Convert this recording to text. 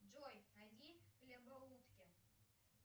джой найди хлебоутки